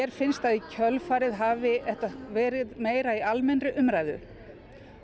finnst að í kjölfarið hafi þetta verið meira í almennri umræðu